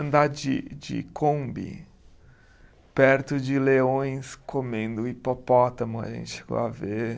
Andar de de Kombi perto de leões comendo hipopótamo, a gente chegou a ver.